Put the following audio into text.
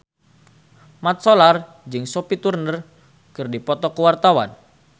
Mat Solar jeung Sophie Turner keur dipoto ku wartawan